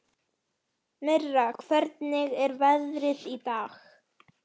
Tóti var feginn að vinur hans hafði tekið sönsum.